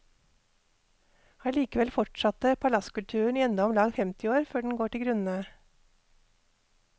Allikevel fortsatte palasskulturen i enda omlag femti år før den går til grunne.